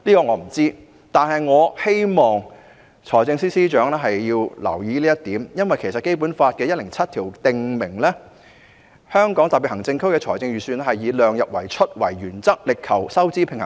我不知道，但我希望財政司司長會留意這一點，因為《基本法》第一百零七條訂明，"香港特別行政區的財政預算以量入為出作原則，力求收支平衡"。